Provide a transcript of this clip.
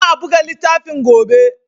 Za a buga littafin gobe.